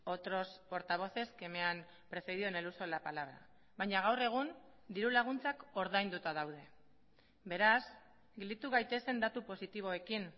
otros portavoces que me han precedido en el uso de la palabra baina gaur egun dirulaguntzak ordainduta daude beraz gelditu gaitezen datu positiboekin